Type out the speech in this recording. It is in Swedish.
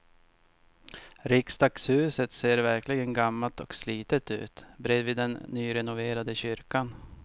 Riksdagshuset ser verkligen gammalt och slitet ut bredvid den nyrenoverade kyrkan.